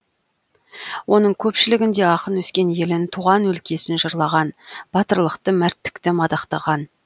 оның көпшілігінде ақын өскен елін туған өлкесін жырлаған батырлықты мәрттікті мадақтаған